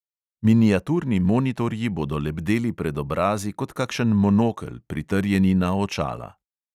Miniaturni monitorji bodo lebdeli pred obrazi kot kakšen monokel, pritrjeni na očala.